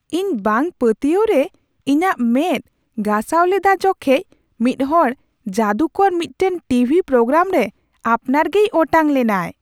ᱤᱧ ᱵᱟᱝᱼᱯᱟᱹᱛᱤᱭᱟᱹᱣ ᱨᱮ ᱤᱧᱟᱹᱜ ᱢᱮᱸᱫ ᱜᱟᱥᱟᱣ ᱞᱮᱫᱟ ᱡᱚᱠᱷᱮᱡ ᱢᱤᱫᱦᱚᱲ ᱡᱟᱹᱫᱩ ᱠᱚᱨ ᱢᱤᱫᱴᱟᱝ ᱴᱤᱵᱷᱤ ᱯᱨᱳᱜᱨᱟᱢ ᱨᱮ ᱟᱯᱱᱟᱨ ᱜᱮᱭ ᱚᱴᱟᱝ ᱞᱮᱱᱟᱭ ᱾